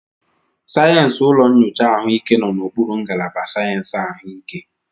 Sayensị ụlọ nyocha ahụike nọ n'okpuru ngalaba sayensị ahụike.